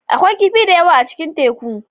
Akwai kifi da yawa a cikin teku.